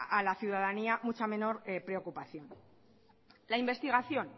a la ciudadanía mucha menor preocupación la investigación